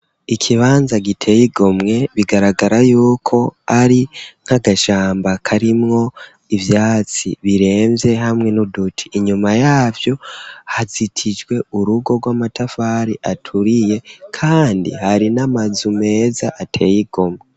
Ikibanza giteye igomwe, bigaragara yuko ari nka gashamba karimwo ivyatsi biremvye hamwe n'uduti, inyuma yavyo hazitijwe urugo rw'amatafari aturiye, kandi hari n'amazu meza ateye igomwe.